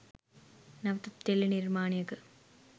නැවතත් ටෙලි නිර්මාණයක